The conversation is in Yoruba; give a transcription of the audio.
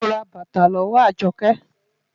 Mo ra bàtà lọ́wọ́ Àjọkẹ́.